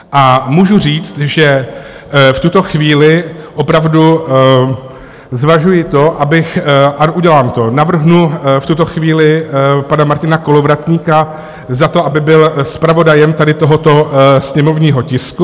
A můžu říct, že v tuto chvíli opravdu zvažuji to, abych... a udělám to, navrhnu v tuto chvíli pana Martina Kolovratníka za to, aby byl zpravodajem tady tohoto sněmovního tisku.